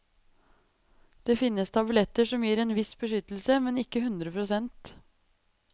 Det finnes tabletter som gir en viss beskyttelse, men ikke hundre prosent.